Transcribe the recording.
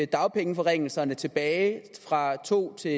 dagpengeforringelserne tilbage fra to til